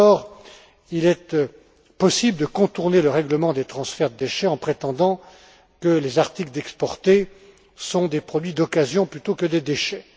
D'abord, il est possible de contourner le règlement des transferts de déchets en prétendant que les articles exportés sont des produits d'occasion plutôt que des déchets.